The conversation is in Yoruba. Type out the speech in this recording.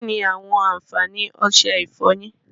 Kínni àwọn àǹfààní ọsẹ ìfọyín?